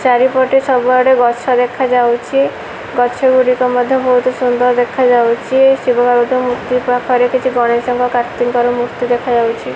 ଚାରିପଟେ ସବୁ ଆଡେ ଗଛ ଦେଖାଯାଉଛି ଗଛଗୁଡ଼ିକ ମଧ୍ଯ ବହୁତ ସୁନ୍ଦର ଦେଖାଯାଉଛି ଶିବ ପାର୍ବତୀଙ୍କ ମୁର୍ତ୍ତି ପାଖରେ କିଛି ଗଣେଶଙ୍କ କାର୍ତ୍ତିକଙ୍କର ମୁର୍ତ୍ତି ଦେଖାଯାଉଛି।